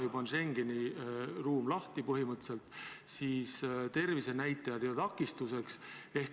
Täna on Schengeni ruum juba põhimõtteliselt lahti, tervisenäitajad ei ole takistuseks.